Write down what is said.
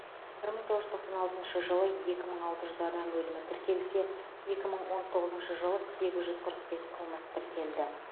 бір мың тоғыз жүз тоқсан алтыншы жылы екі мың алты жүз адам өлімі тіркелсе екі мың он тоғызыншы жылы сегіз жүз қырық бес қылмыс тіркелді